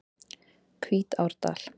Hvítárdal